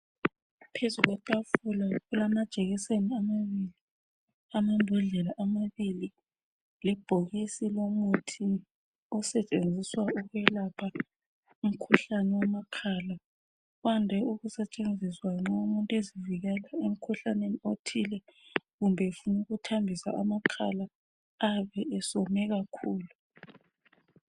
Phezulu kwetafula kulamajekiseni amabili, amabhodlela amabili lebhokisi lomuthi osetshenziswa ukwelapha umkhuhlane wamakhala. Wande ukusetshenziswa nxa umuntu ezivikela emkhuhlaneni othile kumbe efuna ukuthambisa amakhala ayabe esewome kakhulu.